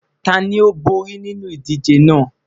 Tani o bori ninu idije naa?